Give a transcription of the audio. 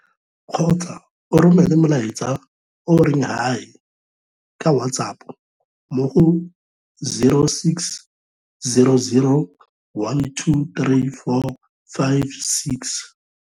kgotsa o romele molaetsa o o reng 'Hi' ka WhatsApp mo go0600 12 3456.